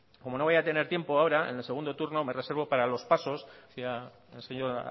como no voy a tener tiempo ahora en el segundo turno me reservo para los pasos ecía el señor